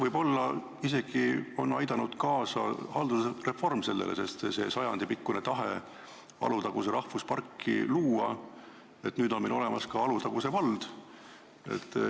Võib-olla on haldusreform sellele isegi kaasa aidanud: tahe Alutaguse rahvusparki luua on sajandipikkune ja nüüd on meil olemas ka Alutaguse vald.